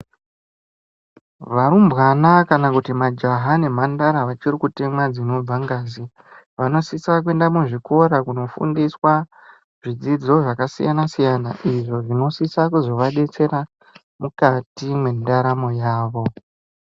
Varumbwana kana kuti majaha nemhandara vachiri kutemwa dzinonga ngazi vanosisa kuenda muzvikora kunodzidziswa zvidzidzo zvakasiyana siyana izvo zvinosisa kuzovadetsera mukati mendaramo yavo.